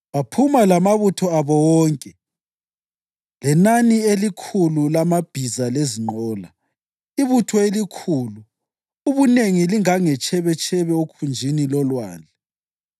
Inkatho yakuqala yawela amaKhohathi ngensendo zawo. AbaLevi ababeyizizukulwane zika-Aroni umphristi babelwa amadolobho alitshumi lantathu ezizwaneni zakoJuda, ezakoSimiyoni lezakoBhenjamini.